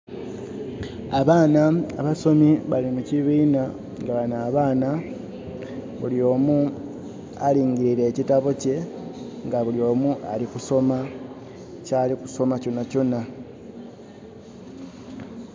Abaana abasomi bali mu kibinha, nga bano abaana buli omu alingirile ekitabo kye, nga buli omu ali kusoma kyali kusoma kyonakyona.